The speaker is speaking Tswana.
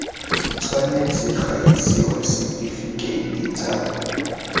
tshwanetse ga isiwa setifikeiti tsa